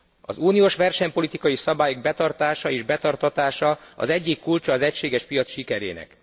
Az uniós versenypolitikai szabály betartása és betartatása az egyik kulcsa az egységes piac sikerének.